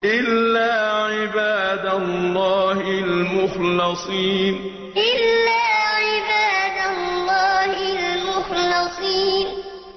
إِلَّا عِبَادَ اللَّهِ الْمُخْلَصِينَ إِلَّا عِبَادَ اللَّهِ الْمُخْلَصِينَ